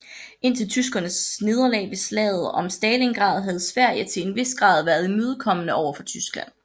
Indtil tyskernes nederlag ved slaget om Stalingrad havde Sverige til en vis grad været imødekommende over for Tyskland